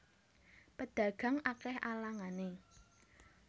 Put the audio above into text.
Pedagang akeh alangane